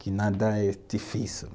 Que nada é difícil.